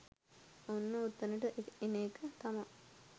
ඔන්න ඔතනට එන එක තමා